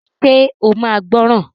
Ṣe o máa gbọ́ràn?